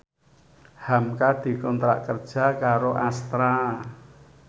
hamka dikontrak kerja karo Astra